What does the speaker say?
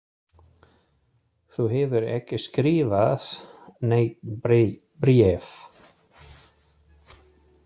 Þú hefur ekki skrifað nein bréf